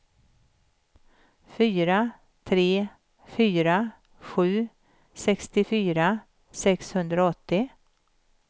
fyra tre fyra sju sextiofyra sexhundraåttio